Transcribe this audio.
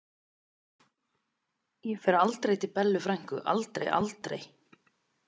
Ég fer aldrei til Bellu frænku, aldrei, aldrei.